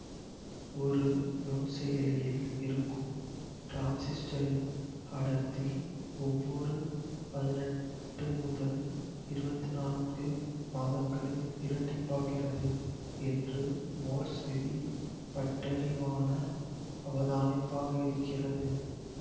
ஒரு நுண்செயலியில் இருக்கும் டிரான்சிஸ்டரின் அடர்த்தி ஒவ்வொரு பதினெட்டு முதல் இருவத்தி நான்கு மாதங்களில் இரட்டிப்பாகிறது என்று மோர்ஸ் விதி பட்டறிவான அவதானிப்பாக இருக்கிறது